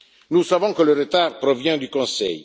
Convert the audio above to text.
Nous savons que le retard provient du Conseil.